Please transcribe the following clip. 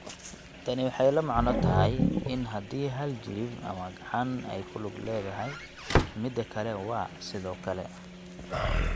Tani waxay la macno tahay in haddii hal jilib ama gacan ay ku lug leedahay, midda kale waa, sidoo kale.